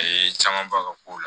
A ye camanbaw k'o la